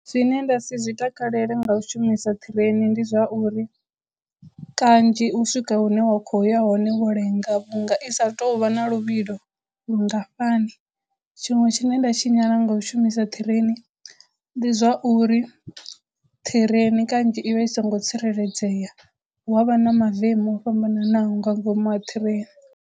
Zwine nda si zwi takalele nga u shumisa ṱhireni ndi zwa uri kanzhi u swika hune wa khou ya hone wo lenga vhunga i sa tou vha na luvhilo lungafhani tshiṅwe tshine nda tshinyala nga u shumisa ṱhireni ndi zwa uri ṱhireni kanzhi i vha i songo tsireledzea hu avha na mavemu o fhambananaho nga ngomu ha ṱhireni.